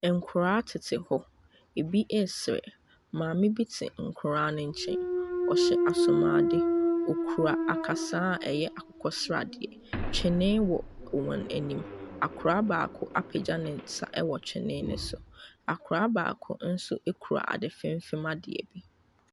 Nkwadaa tete hɔ ebi sere maame bi te nkwadaa no nkyɛn ɔhyɛ asomadeɛ ɔkura akasan ɛyɛ akokɔ seradeɛ twene wɔ wɔn anim akwadaa baako apagya ne nsa wɔ twene ne so akwadaa baako nso kura adi fim adeɛ.